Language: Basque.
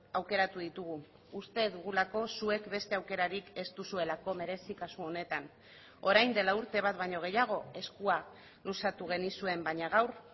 aukeratu ditugu uste dugulako zuek beste aukerarik ez duzuelako merezi kasu honetan orain dela urte bat baino gehiago eskua luzatu genizuen baina gaur